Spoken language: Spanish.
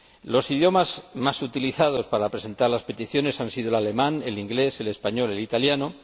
Los idiomas más utilizados para presentar las peticiones han sido el alemán, el inglés, el español y el italiano.